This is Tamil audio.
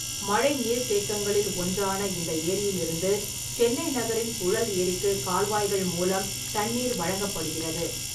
மழை நீர்த்தேக்கங்களில் ஒன்றான இந்த ஏரியிலிருந்து சென்னை நகரின் புழல் ஏரிக்குக் கால்வாய்கள் மூலம் தண்ணீர் வழங்கப்படுகிறது.